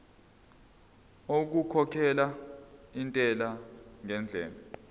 okukhokhela intela ngendlela